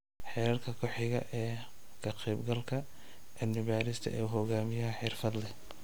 Heerka ku xiga ee ka qaybgalka: cilmi-baadhista uu hogaamiyo xirfadle.